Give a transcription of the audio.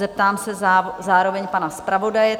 Zeptám se zároveň pana zpravodaje.